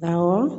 Awɔ